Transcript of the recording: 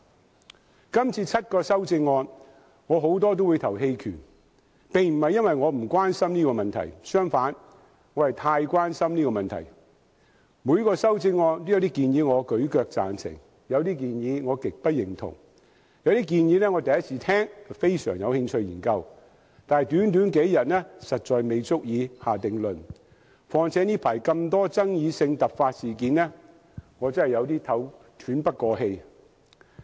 今天這項議案有7項修正案，我對多項修正案都會在表決時棄權，這並非因為我不關心這議題，相反，我是太關心；各項修正案都有一些建議我舉"腳"贊成，但有些建議我極不認同，有些建議我第一次聽到，非常有興趣研究，但短短數天實在不足以下定論，況且近日發生了眾多具爭議性的突發事件，我真的有點喘不過氣。